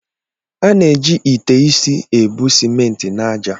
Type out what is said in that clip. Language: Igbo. A na-eji ite isi ebu simenti na ájá.